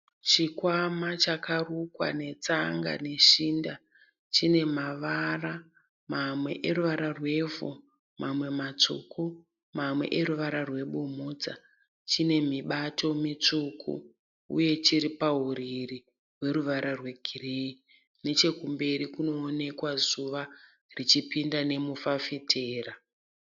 Chikwama chakarukwa netsanga neshinda. Chine mavara mamwe eruwara rwevhu mamwe matsvuku mamwe eruwara rwebumhudza. Chine mibato mitsvuku. Uye chiri pahurirí rweruvara rwe gireyi. Nechemberi kunoonekwa zuva richipinda nemufafitera.